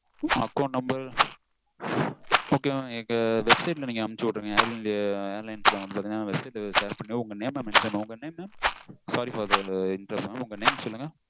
account number okay mam எங்க website க்கு நீங்க அனுப்பிச்சு விடுங்க air india airlines தான் share பண்ணுங்க உங்க name mention பண்ணுங்க sorry for the interruption உங்க name சொல்லுங்க